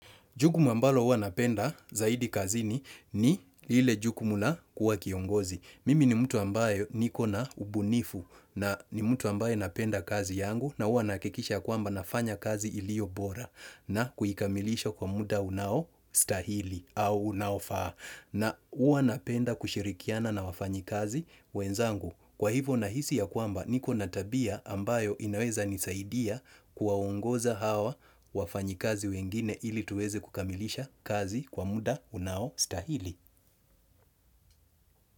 Jukumu ambalo huwa napenda zaidi kazini ni ile jukumu la kuwa kiongozi. Mimi ni mtu ambaye niko na ubunifu na ni mtu ambaye napenda kazi yangu na huwa nahakikisha kwamba nafanya kazi iliobora na kuikamilisha kwa muda unaostahili au unaofaa. Na huwa napenda kushirikiana na wafanyikazi wenzangu. Kwa hivyo nahisi ya kwamba niko na tabia ambayo inaweza nisaidia kuwaongoza hawa wafanyikazi wengine ili tuweze kukamilisha kazi kwa muda unaostahili.